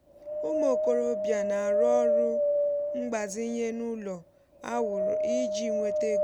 ụmụ okorobịa na-arụ ọrụ mgbazinye n’ụlọ a wụrụ iji nweta ego.